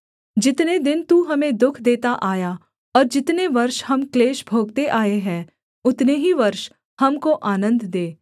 जितने दिन तू हमें दुःख देता आया और जितने वर्ष हम क्लेश भोगते आए हैं उतने ही वर्ष हमको आनन्द दे